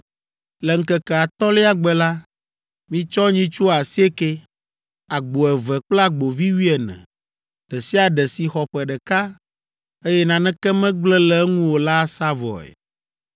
“Le ŋkeke atɔ̃lia gbe la, mitsɔ nyitsu asiekɛ, agbo eve kple agbovi wuiene, ɖe sia ɖe si xɔ ƒe ɖeka, eye naneke megblẽ le eŋu o la asa vɔe.